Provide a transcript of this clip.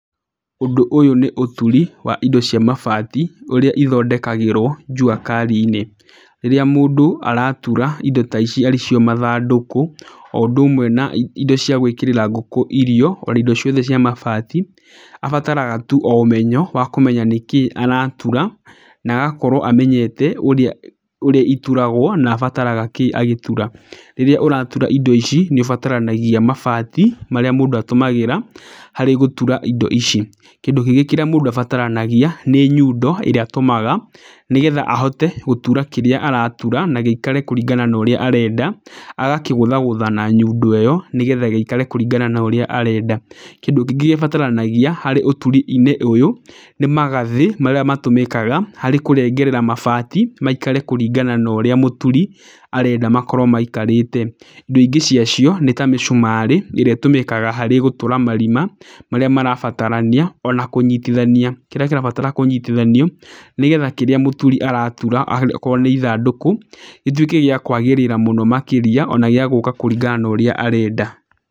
Ũndũ ũyũ nĩ ũturi wa indo cia mabati, ũrĩa ithondekagĩrwo jua kari-inĩ. Rĩrĩa mũndũ aratura indo taici arĩ cio mathandũkũ oũndũ ũmwe na indo cia gwĩkĩrĩra ngũkũ irio, ona indo ciothe cia mabati, abataraga tu o ũmenyo wa kũmenya nĩkĩĩ aratura na agakorwo amenyete ũrĩa, ũrĩa ituragwo na abataraga kĩĩ agĩtura. Rĩrĩa ũratura indo ici nĩ ũbataranagia mabati marĩa mũndũ atũmagĩra harĩ gũtura indo ici. Kĩndũ kĩngĩ kĩrĩa mũndũ abataranagia nĩ nyundo ĩrĩa atũmaga, nĩgetha ahote gũtura kĩrĩa aratura na gĩikare kũringana na ũrĩa arenda, agakĩgũthagũtha na nyundo ĩyo nĩgetha gĩikare kũringana na ũrĩa arenda. Kĩndũ kĩngĩ gĩbataranagia harĩ ũturi-inĩ ũyũ nĩ magathĩ marĩa matũmĩkaga harĩ kũrengerera mabati, maikare kũringana na ũrĩa mũturi arenda makorwo maikarĩte. Indo ingĩ ciacio nĩ ta mĩcumarĩ ĩrĩa ĩtũmĩkaga harĩ gũtura marima marĩa marabatarania ona kũnyitithania kĩrĩa kĩrabatara kũnyitithanio, nĩgetha kĩrĩa mũturi aratura akorwo nĩ ithandũkũ gĩtuĩke gĩa kwagĩrĩra mũno makĩria, ona gĩa gũka kũringana na ũrĩa arenda.